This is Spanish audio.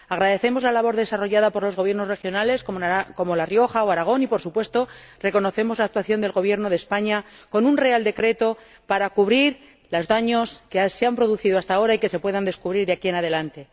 Agradecemos la labor desarrollada por los Gobiernos regionales, como La Rioja o Aragón y, por supuesto, reconocemos la actuación del Gobierno de España con un real decreto para cubrir los daños que se han producido hasta ahora y que se puedan descubrir de aquí en adelante.